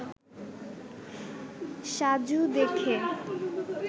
সাজু দেখে